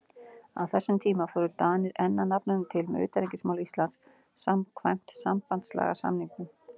Á þessum tíma fóru Danir enn að nafninu til með utanríkismál Íslands samkvæmt sambandslagasamningnum.